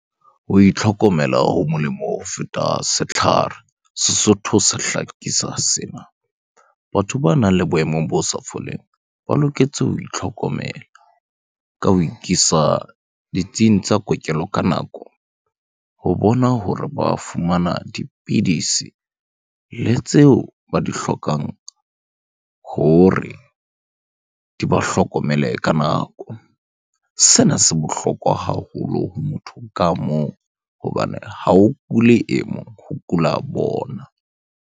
Ho itlhokomela ho molemo ho feta setlhare, Sesotho se hlakisa sena. Batho banang le boemong bo sa foleng, ba loketse ho itlhokomela ka ho ikisa ditsing tsa kokelo ka nako ho bona hore ba fumana dipidisi le tseo ba di hlokang hore di ba hlokomele ka nako. Sena se bohlokwa haholo ho motho ka mong hobane ha o kule e mong, ho kula bona.